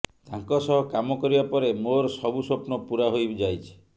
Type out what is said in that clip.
ତାଙ୍କ ସହ କାମ କରିବା ପରେ ମୋର ସବୁ ସ୍ୱପ୍ନ ପୂରା ହୋଇ ଯାଇଛି